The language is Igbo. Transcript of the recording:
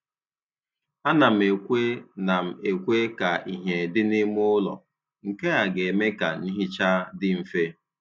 A na m ekwe na m ekwe ka ihe dị n'ime ụlọ, nke a ga-eme ka nhicha dị mfe.